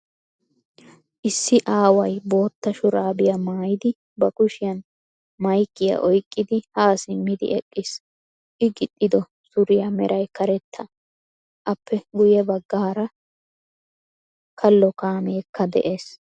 Issi aaway bootta shuraabiya maayidi ba kushiyan maykkiya oyqqidi ha simmidi eqqiis. I gixxiddo suriya meray karetta. Appe guye baggaara kalo kaameekka de'ees.